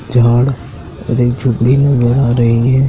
झाड़ उधर झोपडी नजर जा रही है।